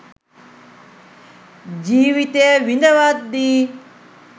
ජීවිතය විඳවද්දී